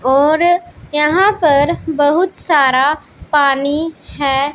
और यहां पर बहुत सारा पानी है।